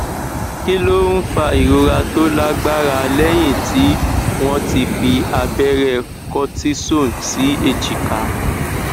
kí ló ń fa ìrora tó lágbára lẹyìn tí wọn ti fi abẹrẹ cortisone sí èjìká